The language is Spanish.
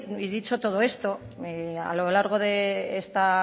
y dicho todo esto a lo largo de esta